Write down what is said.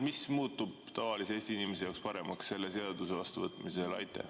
Mis muutub tavalise Eesti inimese jaoks paremaks selle seaduse vastuvõtmisel?